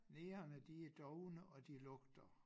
Negerne de er dovne og de lugter